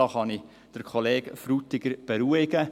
Da kann ich den Kollegen Frutiger beruhigen.